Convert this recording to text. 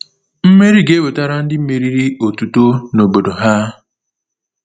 Mmeri ga-ewetara ndị meriri otuto na obodo ha.